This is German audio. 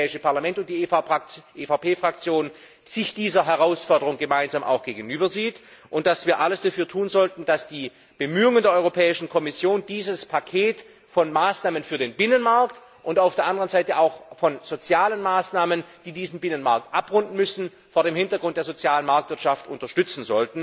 dass das Europäische Parlament und die EVP Fraktion sich dieser Herausforderung gemeinsam gegenüber sehen, und dass wir alles dafür tun sollten, um die Bemühungen der Europäischen Kommission, um dieses Paket von Maßnahmen für den Binnenmarkt und auf der anderen Seite auch von sozialen Maßnahmen, die diesen Binnenmarkt abrunden müssen, vor dem Hintergrund der sozialen Marktwirtschaft zu unterstützen.